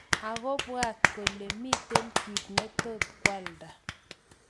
Ako bwat kole miten kit netot kwalda.